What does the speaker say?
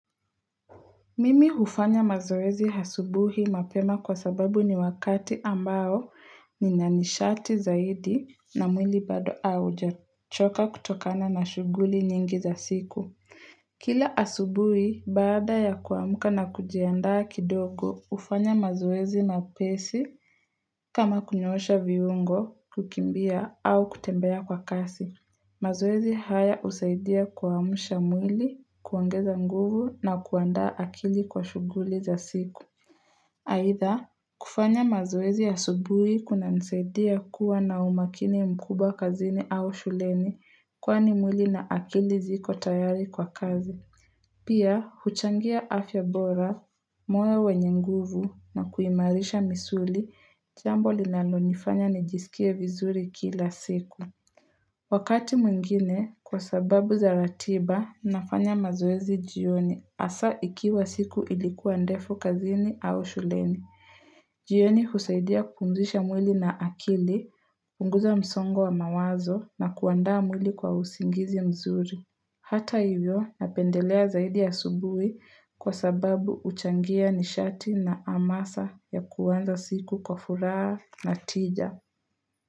Mimi hufanya mazoezi hasubuhi mapema kwa sababu ni wakati ambao ni nanishati zaidi na mwili bado auja choka kutokana na shuguli nyingi za siku. Kila asubuhi baada ya kuamuka na kujiandaa kidogo ufanya mazoezi na pesi kama kunyosha viungo, kukimbia au kutembea kwa kasi. Mazoezi haya usaidia kuamusha mwili, kuongeza nguvu na kuanda akili kwa shughuli za siku. Haitha, kufanya mazoezi ya asubuhi kuna nsaidia kuwa na umakini mkubwa kazini au shuleni kwani mwili na akili ziko tayari kwa kazi. Pia, huchangia afya bora, mwe wenye nguvu na kuimarisha misuli jambo linalonifanya nijisikia vizuri kila siku. Wakati mwingine kwa sababu za ratiba nafanya mazoezi jioni hasa ikiwa siku ilikuwa ndefu kazini au shuleni. Jioni husaidia kumzisha mwili na akili, unguza msongo wa mawazo na kuanda mwili kwa usingizi mzuri. Hata hivyo napendelea zaidi ya asubuhi kwa sababu uchangia nisharti na amasa ya kuwanza siku kwa furaha na tija.